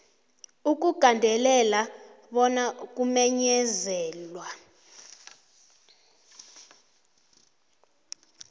ukugandelela bona ukumenyezelwa